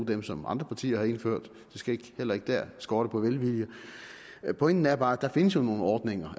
dem som andre partier har indført det skal heller ikke dér skorte på velvilje pointen er bare at der allerede findes nogle ordninger